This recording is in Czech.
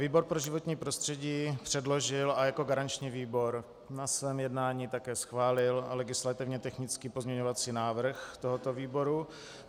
Výbor pro životní prostředí předložil a jako garanční výbor na svém jednání také schválil legislativně technický pozměňovací návrh tohoto výboru.